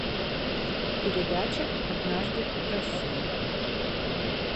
передача однажды в россии